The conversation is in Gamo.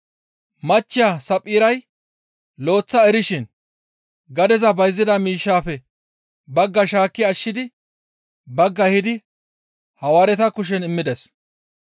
Machcheya Saphphiray lo7eththa erishin gadeza bayzida miishshaafe baggaa shaakki ashshidi baggaa ehidi Hawaareta kushen immides.